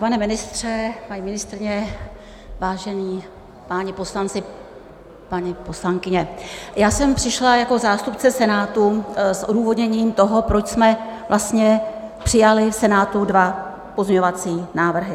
Pane ministře, paní ministryně, vážení páni poslanci, paní poslankyně, já jsem přišla jako zástupce Senátu s odůvodněním toho, proč jsme vlastně přijali v Senátu dva pozměňovací návrhy.